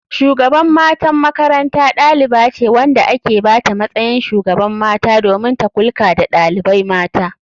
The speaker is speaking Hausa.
Shugaban matan makaranta ɗalibace wanda aka bata matsayin shugaban mata domin ta kulka da ɗalibai mata.